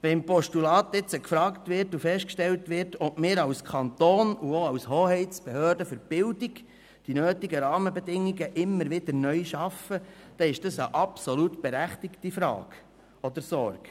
Wenn im Postulat nun gefragt und festgestellt wird, ob wir als Kanton und auch als Hoheitsbehörde für Bildung die nötigen Rahmenbedingungen immer wieder neu schaffen, dann ist das eine absolut berechtigte Frage oder Sorge.